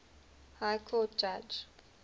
high court judge